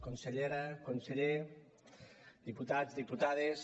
consellera conseller diputats diputades